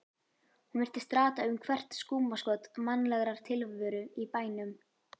Hún virtist rata um hvert skúmaskot mannlegrar tilveru í bænum.